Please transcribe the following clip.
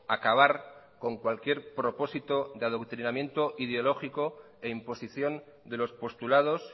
acabar con cualquier propósito de adoctrinamiento ideológico e imposición de los postulados